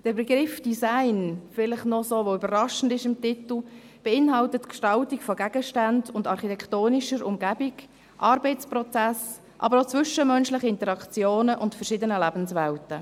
Der Begriff Design, welcher im Titel noch so überraschend ist, beinhaltet die Gestaltung von Gegenständen und architektonischer Umgebung, Arbeitsprozessen, zwischenmenschlichen Interaktionen und verschiedenen Lebenswelten.